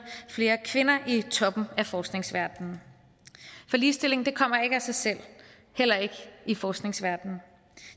flere kvinder i toppen af forskningsverdenen for ligestilling kommer ikke af sig selv heller ikke i forskningsverdenen